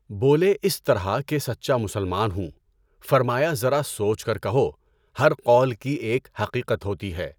بولے اس طرح کہ سچا مسلمان ہوں، فرمایا ذرا سوچ کر کہو، ہر قول کی ایک حقیقت ہوتی ہے۔